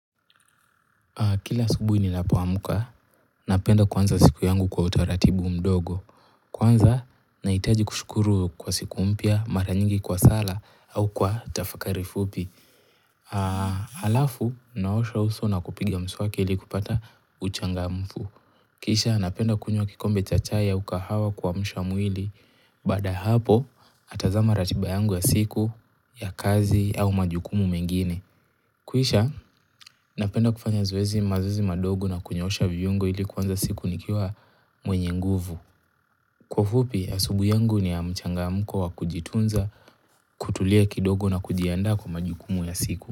Kila asubuhi ninapo amka, napenda kuaanza siku yangu kwa utaratibu mdogo. Kwanza, nahitaji kushukuru kwa siku mpya, mara nyingi kwa sala au kwa tafakari fupi. Halafu, naosha uso na kupiga mswaki ili kupata uchangamfu. Kisha, napenda kunywa kikombe cha chai au kahawa kuamsha mwili. Baada ya hapo, natazama ratiba yangu ya siku, ya kazi au majukumu mengine. Kisha, napenda kufanya zoezi mazoezi madogo na kunyoosha viungo ili kuanza siku nikiwa mwenye nguvu. Kwa ufupi, asubuhi yangu ni ya mchangamko wakujitunza, kutulia kidogo na kujiandaa kwa majukumu ya siku.